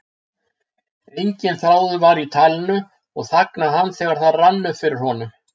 Enginn þráður var í talinu og þagnaði hann þegar það rann upp fyrir honum.